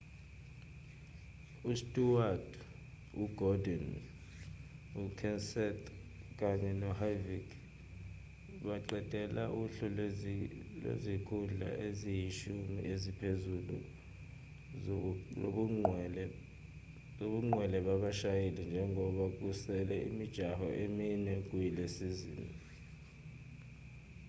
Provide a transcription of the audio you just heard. usteward ugordon ukenseth kanye noharvick baqedela uhlu lwezikhundla eziyishumi eziphezulu zobungqwele babashayeli njengoba kusele imijaho emine kuyisizini